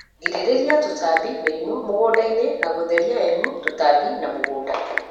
Girïrïria tûtambi/mïrimû mïgundaini na gûtheria m tûtambi na mûgunda.